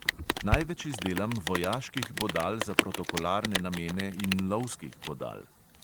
Največ izdelam vojaških bodal za protokolarne namene in lovskih bodal.